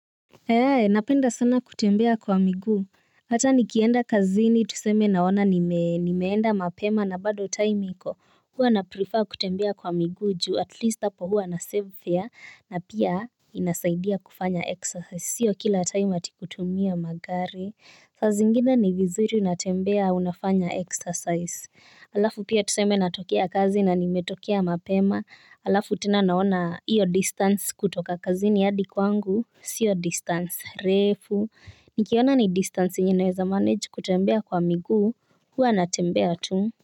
He hee napenda sana kutembea kwa miguu. Hata nikienda kazini tuseme naona nimeenda mapema na bado time iko. Hua na prefer kutembea kwa miguu juu at least hapo huwa na save fare na pia inasaidia kufanya exercise sio kila time atikutumia magari. Saa zingine ni vizuri natembea unafanya exercise. Alafu pia tuseme natokea kazi na nimetokea mapema. Alafu tena naona hiyo distance kutoka kazini hadi kwangu. Sio distance refu. Nikiona ni distance yenye naweza manage kutembea kwa miguu huwa natembea tu.